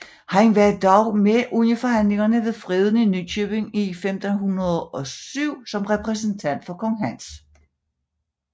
Han var dog med under forhandlingerne ved Freden i Nykøbing i 1507 som repræsentant for kong Hans